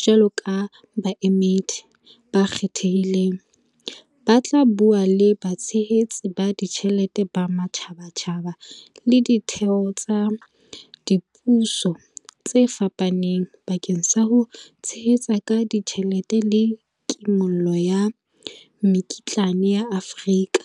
jwalo ka baemedi ba kgethehileng, ba tla bua le batshehetsi ba tjhelete ba matjhabatjhaba le ditheo tsa dipuso tse fapaneng bakeng sa ho tshehetsa ka tjhelete le kimollo ya mekitlane ya Afrika.